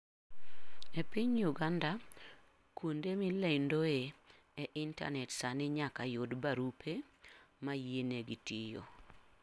E piny Uganda, kuonde milendoe e intanet sani nyaka yud barupe ma yienegi tiyo.